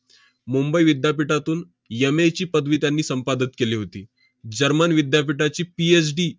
मुंबई विद्यापीठातून M. A. ची पदवी त्यांनी संपादत केली होती. german विद्यापीठाची PhD